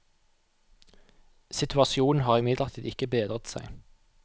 Situasjonen har imidlertid ikke bedret seg.